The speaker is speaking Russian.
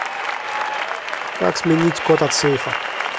как сменить код от сейфа